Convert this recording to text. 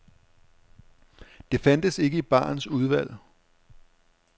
Det fandtes ikke i barens udvalg.